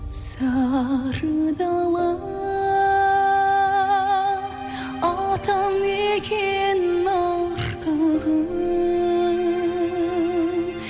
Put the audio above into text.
сары дала атамекен артығым